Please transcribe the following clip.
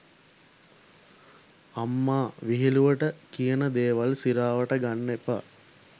අම්මා විහිලුවට කියන දේවල් සිරාවට ගන්න එපා.